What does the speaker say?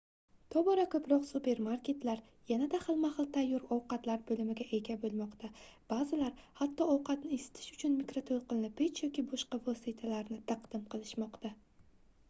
tobora koʻproq supermarketlar yanada xilma-xil tayyor ovqatlar boʻlimiga ega boʻlmoqda baʼzilari hatto ovqatni isitish uchun mikrotoʻlqinli pech yoki boshqa vositalarni taqdim qilishmoqda